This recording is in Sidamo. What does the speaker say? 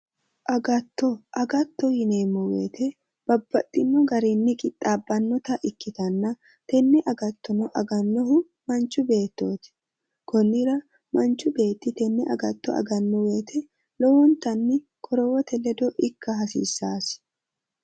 Agatto agatto yineemmo woyiite babbaxxinno garinni qixxaabbannota ikkitanna tenne agattono agannohu manchi beettooti konnira manchu beetti tenne agatto aganno wooyiite lowontanni qorowote ledo ikka hasiissaasi.